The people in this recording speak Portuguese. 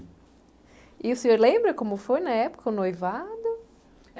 E o senhor lembra como foi na época, o noivado?